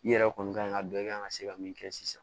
I yɛrɛ kɔni ka ɲi ka dɔ i kan ka se ka min kɛ sisan